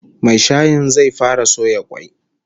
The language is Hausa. Mai shayin zai fara soya kwai